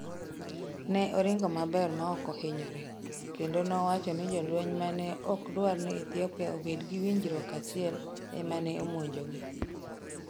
Ne oringo maber ma ok ohinyore, kendo nowacho ni jolweny ma ne ok dwar ni Ethiopia obed gi winjruok achiel e ma ne omonjogi.